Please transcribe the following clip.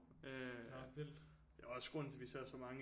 Øh det er også grunden til at vi ser så mange